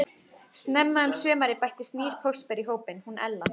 Snemma um sumarið bættist nýr póstberi í hópinn, hún Ella.